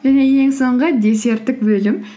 және ең соңғы десерттік бөлім